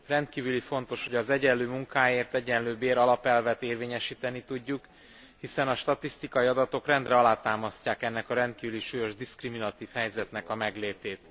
Rendkívül fontos, hogy az egyenlő munkáért egyenlő bért alapelvet érvényesíteni tudjuk, hiszen a statisztikai adatok rendre alátámasztják ennek a rendkívül súlyos diszkriminatív helyzetnek a meglétét.